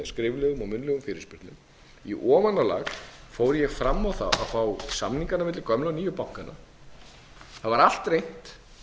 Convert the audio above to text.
skriflegum og munnlegum fyrirspurnum í ofanálag fór ég fram á það að fá samningana milli gömlu og nýju bankanna það var allt reynt